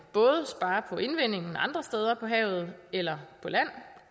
både spare på indvindingen andre steder på havet eller på land